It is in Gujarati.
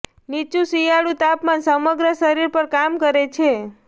નીચુ શિયાળું તાપમાન સમગ્ર શરીર પર કામ કરે છે